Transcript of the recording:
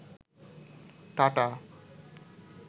tata